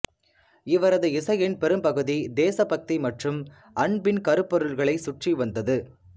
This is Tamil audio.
இவரது இசையின் பெரும்பகுதி தேசபக்தி மற்றும் அன்பின் கருப்பொருள்களைச் சுற்றி வந்தது